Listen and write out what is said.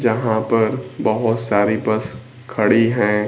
यहां पर बहोत सारी बस खड़ी हैं।